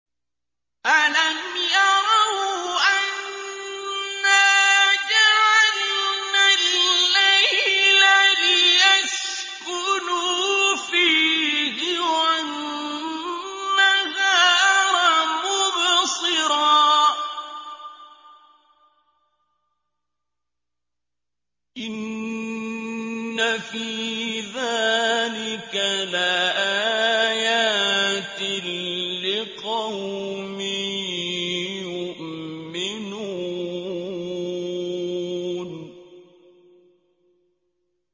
أَلَمْ يَرَوْا أَنَّا جَعَلْنَا اللَّيْلَ لِيَسْكُنُوا فِيهِ وَالنَّهَارَ مُبْصِرًا ۚ إِنَّ فِي ذَٰلِكَ لَآيَاتٍ لِّقَوْمٍ يُؤْمِنُونَ